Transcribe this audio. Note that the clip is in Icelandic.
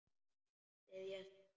Þriðja sinn.